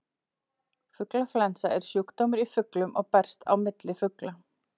Fuglaflensa er sjúkdómur í fuglum og berst á milli fugla.